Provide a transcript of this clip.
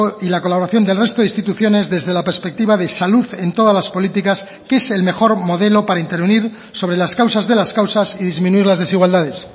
y la colaboración del resto de instituciones desde la perspectiva de salud en todas las políticas que es el mejor modelo para intervenir sobre las causas de las causas y disminuir las desigualdades